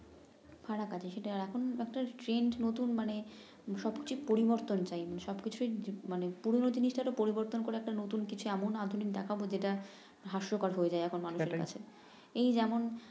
বারাবারি এখন আপনার নতুন মানে সবচে পরিবর্তন টাইম সব কিছুই মানে পুরান জিনিসটা পরিবর্তন করে একটা নতুন কিছু এমন আধুনিক দেখাব যেটা হাস্যকর হয়ে যায় এখন মানুষের কাছে এই যেমন